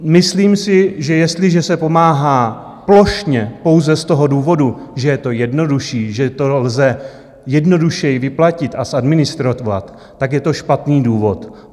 Myslím si, že jestliže se pomáhá plošně pouze z toho důvodu, že je to jednodušší, že to lze jednodušeji vyplatit a zadministrovat, tak je to špatný důvod.